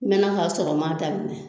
N mɛna k'a sɔrɔ n m'a daminɛ